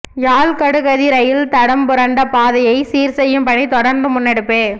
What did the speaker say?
யாழ் கடுகதி ரயில் தடம்புரண்ட பாதையை சீர் செய்யும் பணி தொடர்ந்தும் முன்னெடுப்பு